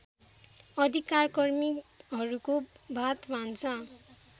अधिकारकर्मीहरूको भातभान्सा